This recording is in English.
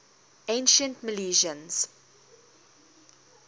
ancient milesians